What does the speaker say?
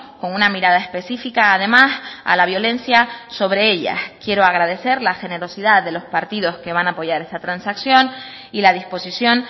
con una mirada específica además a la violencia sobre ellas quiero agradecer la generosidad de los partidos que van a apoyar esta transacción y la disposición